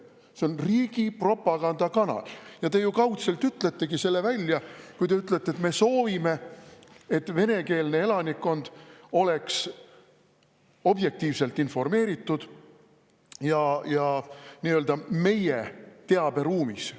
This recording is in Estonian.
See on riigi propagandakanal ja te kaudselt ütletegi selle välja, kui te ütlete, et te soovite, et venekeelne elanikkond oleks objektiivselt informeeritud ja nii-öelda meie teaberuumis.